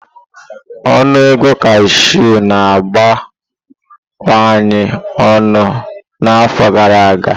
Ọnụ ego cashew na-abawanye ọnụ n'afọ gara aga.